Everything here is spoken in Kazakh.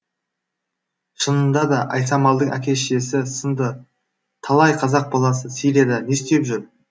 шынында да айсамалдың әке шешесі сынды талай қазақ баласы сирияда не істеп жүр